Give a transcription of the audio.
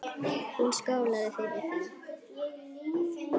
Hún skálaði fyrir því.